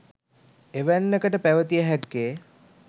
එවැන්නකට පැවතිය හැක්කේ